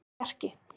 Bjarki